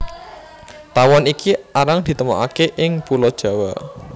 Tawon iki arang ditemokaké ing Pulo Jawa